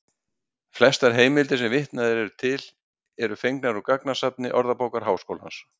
Flestar heimildir sem vitnað er til eru fengnar úr gagnasafni Orðabókar Háskólans.